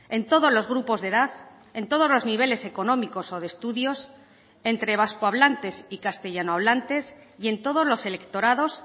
en todos los grupos de edad en todos los niveles económicos o de estudios entre vasco hablantes y castellano hablantes y en todos los electorados